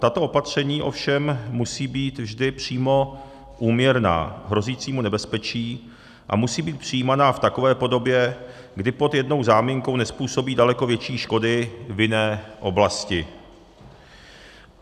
Tato opatření ovšem musí být vždy přímo úměrná hrozícímu nebezpečí a musí být přijímaná v takové podobě, kdy pod jednou záminkou nezpůsobí daleko větší škody v jiné oblasti.